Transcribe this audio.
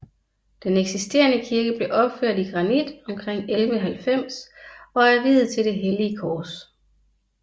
Den eksisterende kirke blev opført i granit omkring 1190 og er viet til det hellige kors